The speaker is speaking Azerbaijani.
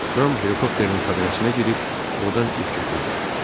Ram helikopterin kabinəsinə girib ordan ip götürdü.